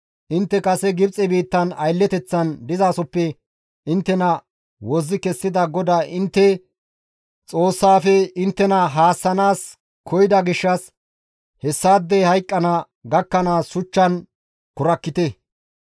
Intte kase Gibxe biittan aylleteththan dizasoppe inttena wozzi kessida GODAA intte Xoossaafe inttena haassanaas koyida gishshas hessaadey hayqqana gakkanaas shuchchan kurakkite.